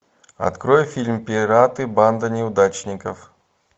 открой фильм пираты банда неудачников